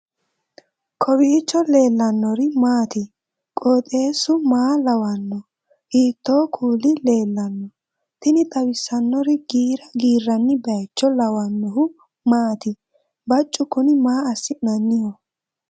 kowiicho leellannori maati ? qooxeessu maa lawaanno ? hiitoo kuuli leellanno ? tini xawissannori giira giirranni baycho lawannohu maati baccu kuni maa assinanniho